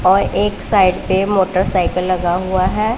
और एक साइड पे मोटरसाइकिल लगा हुआ हैं।